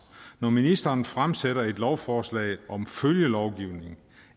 når ministeren fremsætter et lovforslag om følgelovgivning